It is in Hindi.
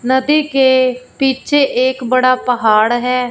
नदी के पीछे एक बड़ा पहाड़ है।